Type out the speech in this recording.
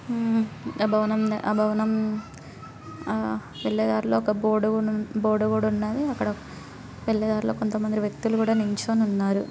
మ్ ఆ భవనం ఆ భవనం ఆ వెళ్ళే దారిలో ఒక బోర్డు గూడ బోర్డు కూడా ఉన్నది అక్కడ వెళ్ళేదారిలో కొంత మంది వ్యక్తులు కూడా నిల్చుని ఉన్నారు.